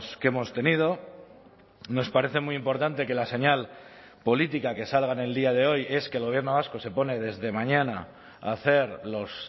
que hemos tenido nos parece muy importante que la señal política que salga en el día de hoy es que el gobierno vasco se pone desde mañana a hacer los